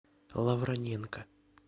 лавроненко